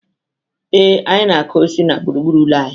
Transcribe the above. Ee, anyị na-akụ osisi na gburugburu ụlọ anyị.